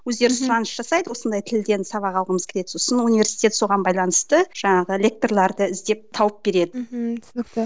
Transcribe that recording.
өздері сұраныс жасайды осындай тілден сабақ алғымыз келеді сосын университет соған байланысты жаңағы лекторларды іздеп тауып береді мхм түсінікті